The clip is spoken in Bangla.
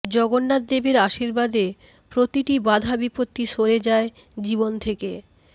জগন্নাথদেবের আশীর্বাদে প্রতিটি বাধা বিপত্তি সরে যায় জীবন থেকে